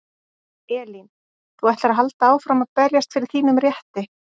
Elín: Þú ætlar að halda áfram að berjast fyrir þínum rétti?